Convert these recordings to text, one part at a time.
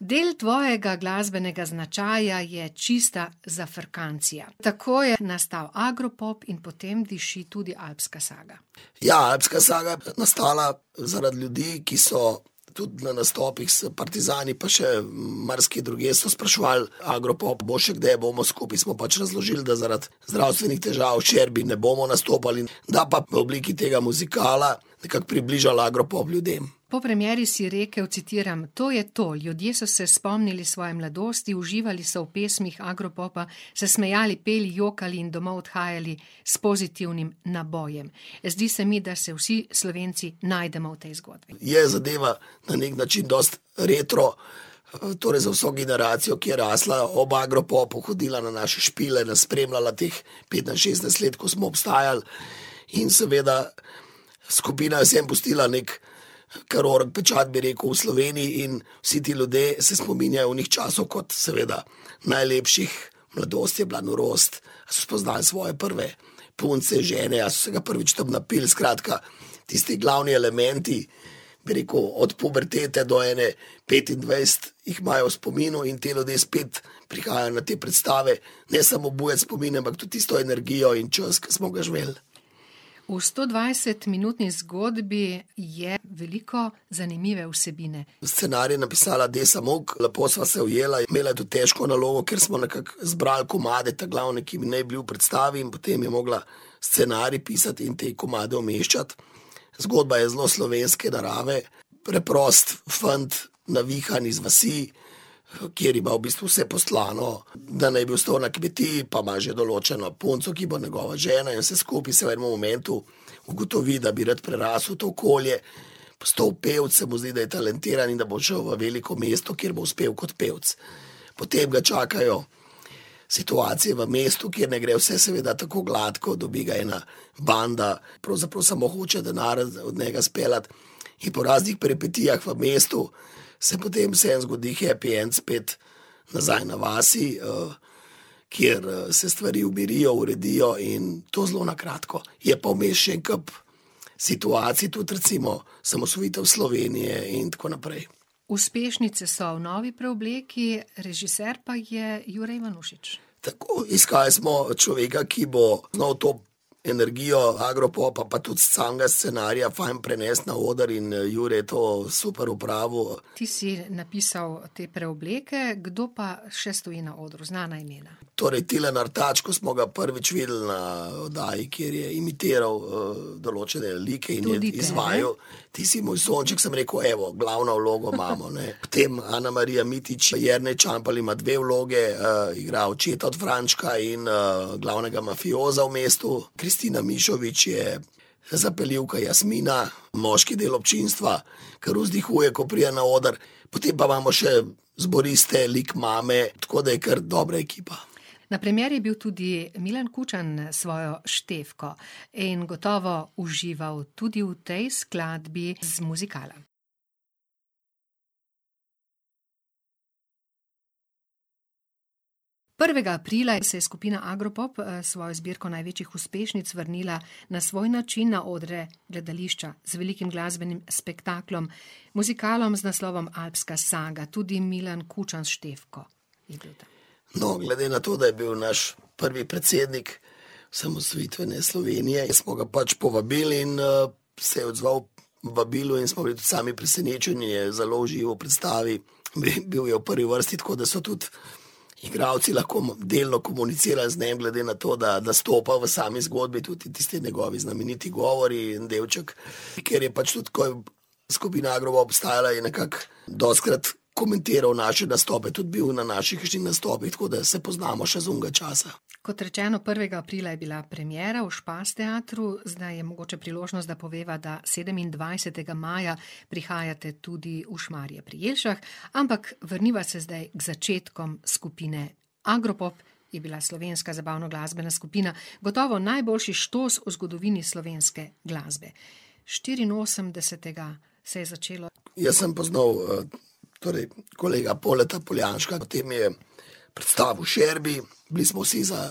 Del tvojega glasbenega značaja je čista zafrkancija. Tako je nastal Agropop in po tem diši tudi Alpska saga. Ja, Alpska saga je pa nastala zaradi ljudi, ki so, tudi na nastopih so partizani pa še marsikje drugje so spraševali, Agropop bo še kdaj, bo še, skupaj smo pač razložili, da zaradi zdravstvenih težav Šerbi ne bomo nastopali, da pa v obliki tega muzikala nekako približali Agropop ljudem. Po premieri si rekel, citiram: "To je to, ljudje so se spomnili svoje mladosti, uživali so v pesmih Agropopa, se smejali, peli, jokali in domov odhajali s pozitivnim nabojem." Zdi se mi, da se vsi Slovenci najdemo v tej zgodbi. Je zadeva na neki način dosti retro, torej za vso generacijo, ki je rasla ob Agropopu, hodila na naše špile, nas spremljala teh petnajst, šestnajst let, ko smo obstajali. In seveda skupina si je pustila nekaj kar orenk pečat, bi rekel, v Sloveniji in vsi ti ljudje se spominjajo onih časov kot seveda najlepših, mladost je bila norost, spoznali svoje prve punce, žene, ali so se ga prvič tam napili, skratka, tisti glavni elementi, bi rekel, od pubertete do ene petindvajset jih imajo v spominu, in ti ljudje spet prihajajo na te predstave, ne samo obujat spomine, ampak tudi tisto energijo in čas, ki smo ga živeli. V stodvajsetminutni zgodbi je veliko zanimive vsebine. Scenarij je napisala Desa Muck, lepo sva se ujela in imela tudi težko nalogo, ker smo nekako zbrali komade ta glavne, ki bi naj bili v predstavi, in potem je mogla scenarij pisati in te komade umeščati. Zgodba je zelo slovenske narave, preprost fant, navihan, z vasi, kjer ima v bistvu vse postlano, da naj bi ostal na kmetiji, pa ima že določeno punco, ki bo njegova žena, je vse skupaj, vse v enem elementu, ugotovi, da bi rad prerasel to okolje, postal pevec, se mu zdi, da je talentiran in da bo šel v veliko mesto, kjer bo uspel kot pevec. Potem ga čakajo situacije v mestu, kjer ne gre vse seveda tako gladko, dobi ga ena banda, pravzaprav samo hoče denar od njega speljati, in po raznih peripetijah v mestu se potem vseeno zgodi happy end, spet nazaj na vasi, kjer, se stvari umirijo, uredijo, in to zelo na kratko. Je pa vmes še en kup situacij, tudi recimo osamosvojitev Slovenije in tako naprej. Uspešnice so v novi preobleki, režiser pa je Jure Ivanušič. Tako, iskali smo človeka, ki bo znal to energijo Agropopa pa tudi samega scenarija fajn prenesti na oder, in, Jure je to super opravil. Ti si napisal te preobleke, kdo pa še stoji na odru, znana imena? Torej Tilen Artač, ko smo ga prvič videli na oddaji, kjer je imitiral, določene like in jih izvajal, Tudi tebe. Ti si moj sonček, sem rekel: "Evo, glavno vlogo imamo, ne." Potem Anamarija Mitić, Jernej Čampelj ima dve vlogi, igra očeta od Frančka in, glavnega mafioza v mestu, Kristina Mišović je zapeljivka Jasmina, moški del občinstva, kar vzdihuje, ko pride na oder, potem pa imamo še zboriste, lik mame, tako da je kar dobra ekipa. Na premieri je bil tudi Milan Kučan s svojo Štefko. In gotovo užival tudi v tej skladbi z muzikala. Prvega aprila se je skupina Agropop, s svojo zbirko največjih uspešnic vrnila na svoj način na odre gledališča z velikim glasbenim spektaklom, muzikalom z naslovom Alpska saga, tudi Milan Kučan s Štefko. No, glede na to, da je bil naš prvi predsednik osamosvojitvene Slovenije, smo ga pač povabili, in, se je odzval vabilu in smo bili tudi sami presenečeni, je zelo užival v predstavi. bil je v prvi vrsti, tako da so tudi igralci lahko delno komunicirali z njim, glede na to, da nastopa v sami zgodbi, tudi tisti njegovi znameniti govori in delček, ker je pač tudi, ko je skupina Agropop obstajala, je nekako dostikrat komentiral tudi naše nastope, tudi bil na naših kakšnih nastopih, tako da se poznamo še iz onega časa. Kot rečeno, prvega aprila je bila premiera v Špas teatru, zdaj je mogoče priložnost, da poveva, da sedemindvajsetega maja prihajate tudi v Šmarje pri Jelšah, ampak vrniva se zdaj k začetkom skupine Agropop, je bila slovenska zabavnoglasbena skupina, gotovo najboljši štos v zgodovini slovenske glasbe. Štiriinosemdesetega se je začelo. Jaz sem poznal, torej, kolega Poldeta Poljanška, potem mi je predstavil Šerbi, bili smo vsi za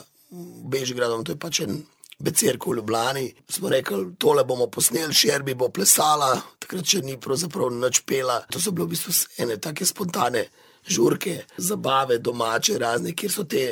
Bežigradom, to je pač en becirk v Ljubljani, smo rekli: "Tole bomo posneli, Šerbi bo plesala," takrat še ni pravzaprav nič pela, to so bile v bistvu ene take spontane žurke, zabave domače, razne, kjer so ti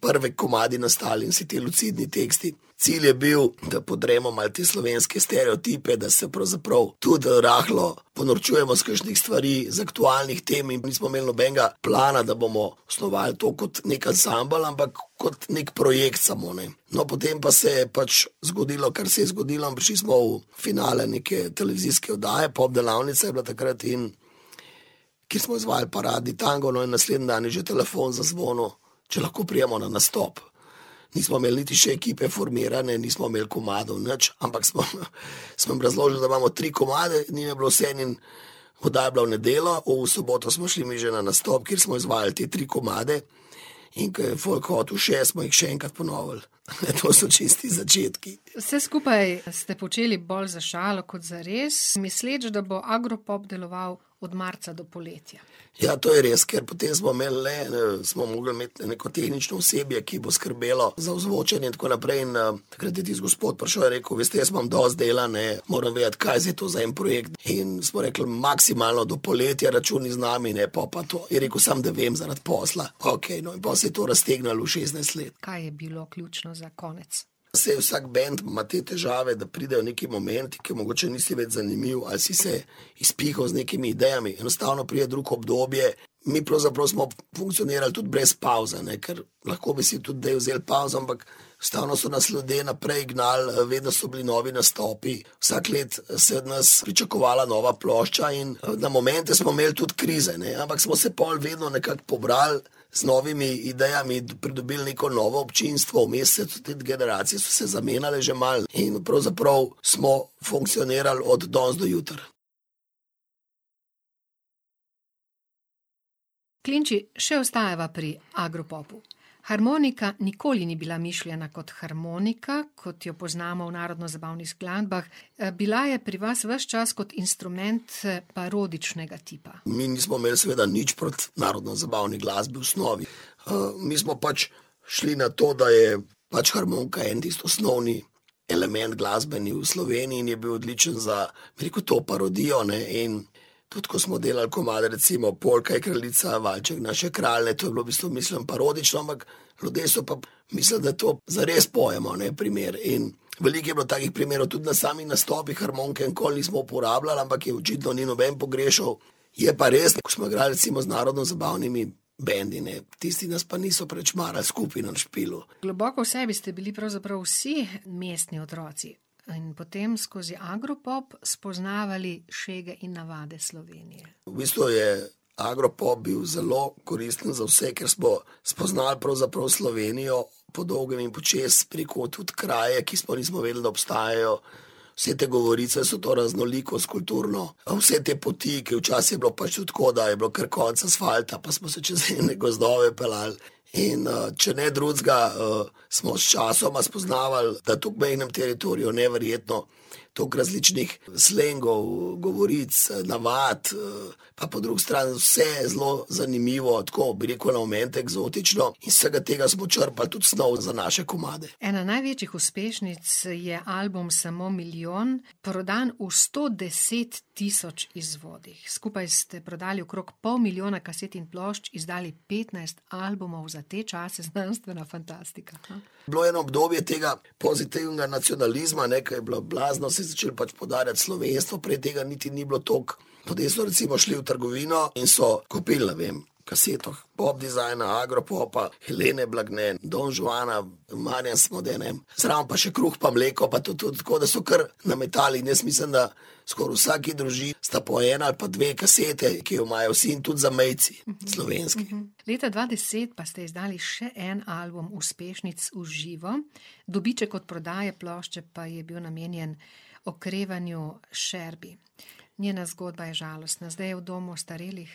prvi komadi nastali in vsi ti lucidni teksti. Cilj je bil, da podremo malo te slovenske stereotipe, da se pravzaprav tudi rahlo ponorčujemo iz kakšnih stvari, iz aktualnih tem in nismo imeli nobenega plana, da bomo osnovali to kot neki ansambel, ampak kot neki projekt samo, ne. No, potem pa se je pač zgodilo, kar se je zgodilo, prišli smo v finale neke televizijske oddaje, Pop delavnica je bila takrat, in kjer smo izvajali Paradni tango, no, in naslednji dan je že telefon zazvonil, če lahko pridemo na nastop. Nismo imeli niti še ekipe formirane, nismo imeli komadov nič, ampak smo, smo jim razložili, da imamo tri komade, njim je bilo vseeno in oddaja je bila v nedeljo, v soboto smo šli mi že na nastop, kjer smo izvajali te tri komade in ke je folk hotel še, smo jih še enkrat ponovili. To so čisti začetki. Vse skupaj ste počeli bolj za šalo kot zares, misleč, da bo Agropop deloval od marca do poletja. Ja, to je res, ker potem smo imeli le, smo mogli imeti neko tehnično osebje, ki bo skrbelo za ozvočenje in tako naprej, in, takrat je tisti gospod prišel, je rekel: "Veste, jaz imam dosti dela, ne, moram vedeti, kaj je zdaj za to en projekt." In smo rekli: "Maksimalno do poletja računaj z nami, ne, pol pa to." Je rekel: "Samo da vem zaradi posla." Okej, no, in pol se je to raztegnilo v šestnajst let. Kaj je bilo ključno za konec? Saj vsak bend ima te težave, da pridejo neki momenti, ker mogoče nisi več zanimiv ali si se izpihal z nekimi idejami, enostavno pride drugo obdobje. Mi pravzaprav smo funkcionirali tudi brez pavze, ne, ker lahko bi si tudi zdaj vzeli pavzo, ampak stalno so nas ljudje naprej gnali, vedno so bili novi nastopi, vsako leto se je od nas pričakovala nova plošča in, na momente smo imeli tudi krize, ne, ampak smo se pol vedno nekako pobrali z novimi idejami, pridobili neko novo občinstvo, vmes tudi generacije so se zamenjale že malo in pravzaprav smo funkcionirali od danes do jutri. Klinči, še ostajava pri Agropopu. Harmonika nikoli ni bila mišljena kot harmonika, kot jo poznamo v narodnozabavnih skladbah, bila je pri vas ves čas kot instrument, parodičnega tipa. Mi nismo imeli seveda nič proti narodnozabavni glasbi v osnovi. mi smo pač šli na to, da je pač harmonika en tisti osnovni element glasbeni v Sloveniji in je bil odličen za, bi rekel, to parodijo, ne, in tudi ko smo delali komade, recimo Polka je kraljica, valček naš je kralj, to je bilo v bistvu mišljeno parodično, ampak ljudje so pa mislili, da to zares pojemo, ne, primer, in veliko je bilo takih primerov, tudi na samih nastopih harmonike nikoli nismo uporabljali, ampak je očitno ni noben pogrešal. Je pa res, ko smo igrali recimo z narodnozabavnimi bendi, ne, tisti nas pa niso preveč marali skupaj na špilu. Globoko v sebi ste bili pravzaprav vsi mestni otroci. No, in potem skozi Agropop spoznavali šege in navade Slovenije. V bistvu je Agropop bil zelo koristen za vse, ker smo spoznali pravzaprav Slovenijo po dolgem in počez, bi rekel, tudi kraje, ki sploh nismo vedeli, da obstajajo, vse te govorice, vso to raznolikost kulturno, vse te poti, ke včasih je bilo pač tudi tako, da je bilo kar konec asfalta, pa smo se čez ene gozdove peljali. In, če ne drugega, smo sčasoma spoznavali, da tudi ob mejnem teritoriju neverjetno toliko različnih slengov, govoric, navad, a po drugi strani vse zelo zanimivo, tako, bi rekel, na momente eksotično. Iz vsega tega smo črpali tudi snov za naše komade. Ena največjih uspešnic je album Samo milijon, prodan v sto deset tisoč izvodih. Skupaj ste prodali okrog pol milijona kaset in plošč, izdali petnajst albumov, za te čase znanstvena fantastika, a? Bilo je eno obdobje tega pozitivnega nacionalizma, ne, ke je bilo blazno, se je začelo pač poudarjati slovenstvo, prej tega niti ni bilo toliko. Ljudje so recimo šli v trgovino in so kupili, ne vem, kaseto Pop Design, Agropopa, Helene Blagne, Don Juana, Marijan Smode, ne. Zraven pa še kruh pa mleko, pa to tudi tako, da so kar nametali, in jaz mislim, da skoraj v vsaki družini sta po ena ali pa dve kaseti, ki jo imajo vsi, in tudi zamejci slovenski. Leta dva deset pa ste izdali še en album uspešnic v živo. Dobiček od prodaje plošče pa je bil namenjen okrevanju Šerbi. Njena zgodba je žalostna, zdaj je v domu ostarelih?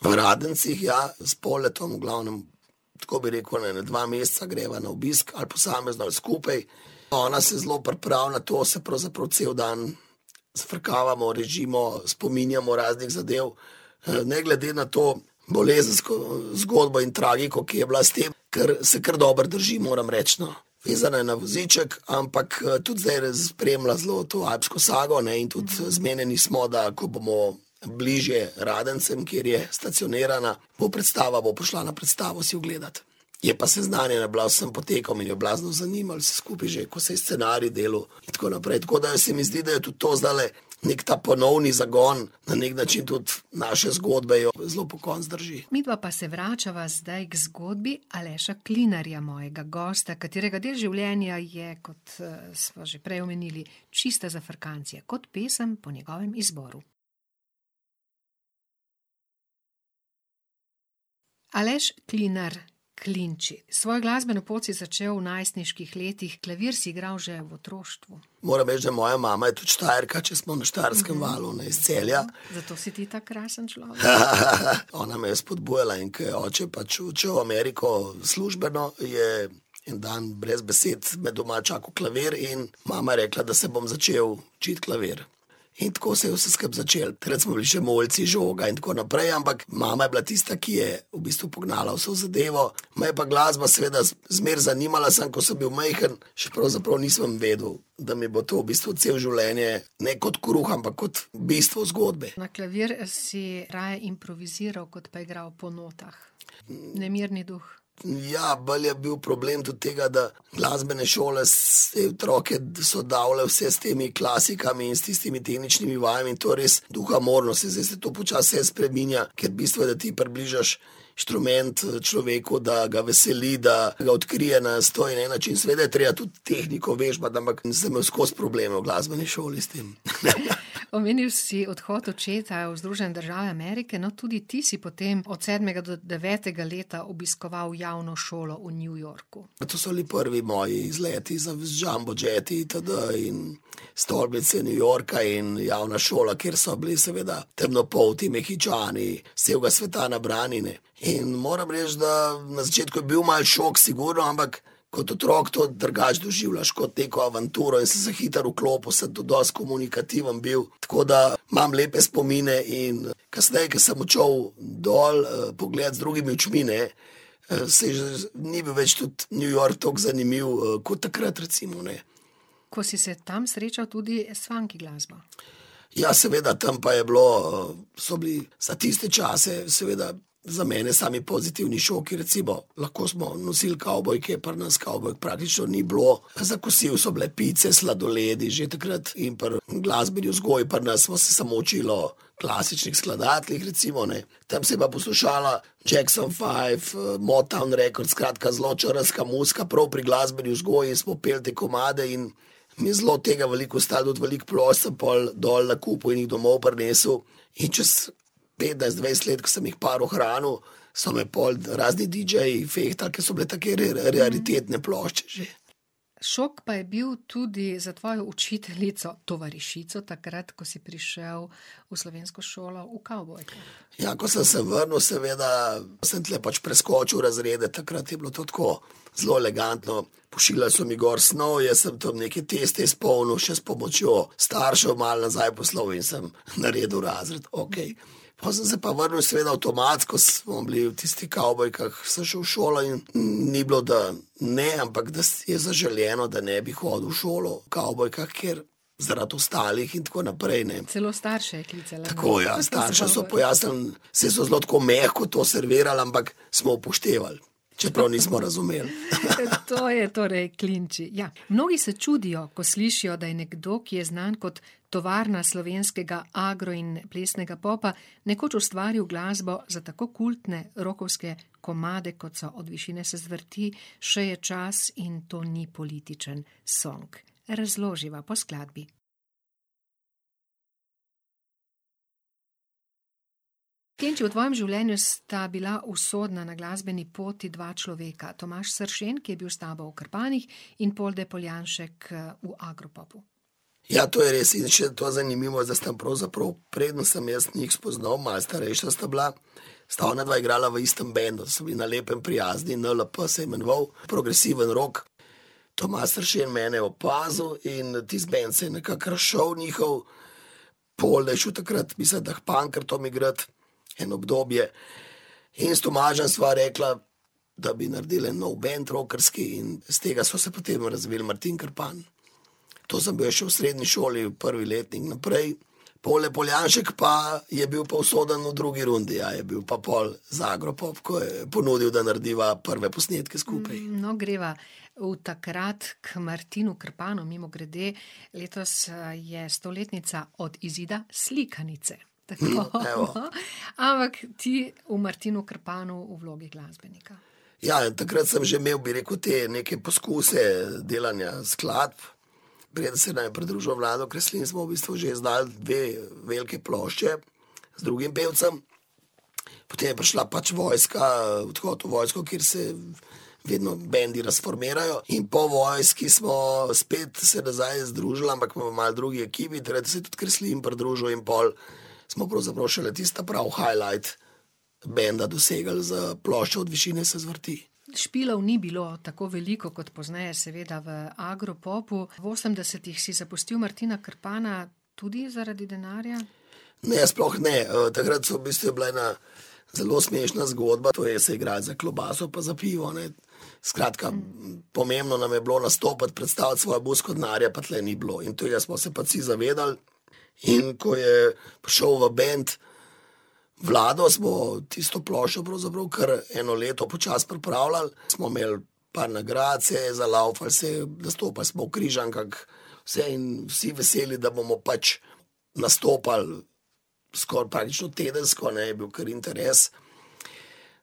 V Radencih, ja, s Poldetom, v glavnem, tako bi rekel, na ene dva meseca greva na obisk, ali posamezno ali skupaj. Ona se zelo pripravi na to, se pravzaprav cel dan zafrkavamo, režimo, spominjamo raznih zadev. ne glede na to bolezensko zgodbo in tragiko, ki je bila s tem, kar, se kar dobro drži, moram reči, no. Vezana je na voziček, ampak, tudi zdajle spremlja zelo to alpsko sago, ne, in tudi zmenjeni smo, da ko bomo bližje Radencem, kjer je stacionirana, bo predstava, bo prišla na predstavo si ogledat. Je pa seznanjena bila z vsem potekom in jo je blazno zanimalo vse skupaj, že ko se je scenarij delal, in tako naprej, tako da se mi zdi, da je tudi to zdajle neki ta ponovni zagon, na neki način tudi naša zgodba jo zelo pokonci drži. Midva pa se vračava zdaj k zgodbi Aleša Klinarja, mojega gosta, katerega del življenja je, kot, smo že prej omenili, čista zafrkancija kot pesem po njegovem izboru. Aleš Klinar - Klinči, svojo glasbeno pot si začel v svojih najstniških letih, klavir si igral že v otroštvu. Moram reči, da moja mama je tudi Štajerka, če smo na Štajerskem valu, ne, iz Celja. Zato si ti tako krasen človek. Ona me je spodbujala, in ker je oče pač odšel v Ameriko službeno, je en dan brez besed me doma čakal klavir in mama je rekla, da se bom začel učiti klavir. In tako se je vse skupaj začelo, takrat smo bili še mulci, žoga in tako naprej, ampak mama je bila tista, ki je v bistvu pognala vso zadevo. Me je pa glasba seveda zmeraj zanimala, samo ko sem bil majhen, še pravzaprav nisem vedel, da mi bo to v bistvu celo življenje ne kot kruh, ampak kot bistvo zgodbe. Na klavir si raje improviziral kot pa igral po notah. Nemirni duh. Ja, bolj je bil problem tudi tega, da glasbene šole, se je otroke, so davljali vse s temi klasikami in s tistimi tehničnimi vajami in to je res duhamorno, saj zdaj se vse to počasi spreminja, ker bistvo je, da ti približaš inštrument človeku, da ga veseli, da ga odkrije na sto in en način, seveda je treba tudi tehniko, vežbati, ampak sem imel skozi probleme v glasbeni šoli s tem. Omenil si odhod očeta v Združene države Amerike, no, tudi ti si potem od sedmega do devetega leta obiskoval javno šolo v New Yorku. To so bili prvi moji izleti z jumbo jeti itd. in stolpnice New Yorka in javna šola, kjer so bili seveda temnopolti Mehičani, s celega sveta nabrani, ne. In moram reči, da na začetku je bil malo šok, sigurno, ampak kot otrok to drugače doživljaš, kot neko avanturo, jaz sem se hitro vklopil, sem tudi dosti komunikativen bil, tako da imam lepe spomine in kasneje, ko sem odšel dol, pogledat z drugimi očmi, ne, se je ni bil več tudi New York tako zanimiv, kot takrat recimo, ne. Ko si se tam srečal tudi s funky glasbo. Ja, seveda, tam pa je bilo, so bili, za tiste čase seveda, za mene sami pozitivni šoki, recimo, lahko smo nosili kavbojke, pri nas kavbojk praktično ni bilo, pa za kosilo so bile pice, sladoledi, že takrat, in pri glasbeni vzgoji pri nas smo se samo učili o klasičnih skladateljih, recimo, ne, tam se je pa poslušala Jackson Five, Mobtown records, skratka zelo črnska muzika, prav pri glasbeni vzgoji, in smo peli te komade in mi je zelo tega veliko ostalo, tudi veliko plošč sem pol dol nakupil in domov prinesel. In čez petnajst, dvajset let, ko sem jih par ohranil, so me pol razni didžeji fehtali, ko so bile take raritetne plošče že. Šok pa je bil tudi za tvojo učiteljico, tovarišico, takrat ko si prišel v slovensko šolo v kavbojkah. Ja, ko sem se vrnil, seveda, sem tule pač preskočil razrede, takrat je bilo to tako, zelo elegantno, pošiljali so mi gor snov, jaz sem tam neke teste izpolnil še s pomočjo staršev, malo nazaj poslal, in sem naredil razred, okej. Po sem se pa vrnil, seveda, avtomatsko smo bili v tistih kavbojkah, sem šel v šolo in ni bilo, da ne, ampak da je zaželeno, da ne bi hodil v šolo v kavbojkah, ker zaradi ostalih in tako naprej, ne. Celo starše je klicala. Tako, ja, staršem so pojasnili, saj so zelo tako mehko to servirali, ampak smo upoštevali, čeprav nismo razumeli. To je torej Klinči, ja, mnogi se čudijo, ko slišijo, da je nekdo, ki je znan kot tovarna slovenskega agro in plesnega popa, nekoč ustvaril glasbo za tako kultne rockovske komade, kot so Od višine se zvrti, Še je čas in To ni političen song. Razloživa po skladbi. Klinči, v tvojem življenju sta bila usodna na glasbeni poti dva človeka, Tomaž Sršen, ki je bil s tabo v Krpanih, in Polde Poljanšek, v Agropopu. Ja, to je res, in še to je zanimivo, da sta pravzaprav, preden sem jaz njih spoznal, malo starejša sta bila, sta onadva igrala v istem bendu, so bili na lepem prijazni, NLP se je imenoval, progresivni rock. Tomaž Sršen je mene opazil in tisti bend se je nekako razšel njihov, Polde je šel takrat, mislim, da k Pankrtom igrat eno obdobje, in s Tomažem sva rekla, da bi naredili en nov bend rockerski, in s tega sva se potem razvil v Martin Krpan. To sem bil jaz še v srednji šoli, prvi letnik in naprej, Polde Poljanšek pa je bil pa usoden pa v drugi rundi, ja, je bil pa pol z Agropop, ko je ponudil, da narediva prve posnetke skupaj. No, greva v takrat, ko Martinu Krpanu, mimogrede, letos, je stoletnica od izida slikanice. Tako. evo. Ampak ti, v Martinu Krpanu v vlogi glasbenika. Ja, takrat sem že imel, bi rekel, te neke poskuse delanja skladb. Preden se nam je pridružil Vlado Kreslin, smo v bistvu že izdali dve veliki plošči z drugim pevcem. Potem je prišla pač vojska, odhod v vojsko, kjer se vedno bendi razformirajo, in po vojski smo spet se nazaj združili, ampak malo v drugi ekipi, takrat se je tudi Kreslin pridružil in pol smo pravzaprav šele tisti ta pravi highlight benda dosegli z ploščo Od višine se zvrti. Špilov ni bilo tako veliko kot pozneje, seveda, v Agropopu, v osemdesetih si zapustil Martina Krpana, tudi zaradi denarja? Ne, sploh ne, takrat sem v bistvu, je bila ena zelo smešna zgodba, to je, se je igralo za klobaso pa za pivo, ne. Skratka, pomembno nam je bilo nastopati, predstaviti svojo muziko, denarja pa tule ni bilo in tega smo se pač vsi zavedali. In ko je prišel v bend Vlado, smo tisto ploščo pravzaprav kar eno leto počasi pripravljali, smo imeli par nagrad, se je, zalavfal se je, nastopali smo v Križankah, vse in vsi veseli, da bomo pač nastopali skoraj praktično tedensko, ne, je bil kar interes.